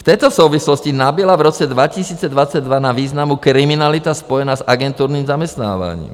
V této souvislosti nabyla v roce 2022 na významu kriminalita spojená s agenturním zaměstnáváním.